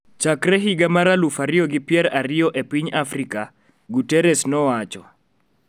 Chakre higa mar aluf ariyo gi pier ariyo e piny Afrika, Guterres nowacho